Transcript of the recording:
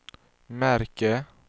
märke